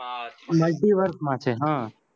multiverse માં multiverse માં સે હા